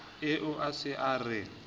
eo o se a re